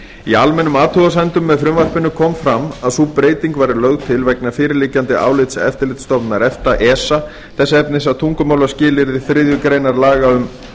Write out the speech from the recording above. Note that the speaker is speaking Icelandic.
í almennum athugasemdum með frumvarpinu kom fram að sú breyting væri lögð til vegna fyrirliggjandi álits eftirlitsstofnunar efta þess efnis að tungumálaskilyrði þriðju grein laga um